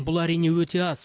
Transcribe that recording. бұл әрине өте аз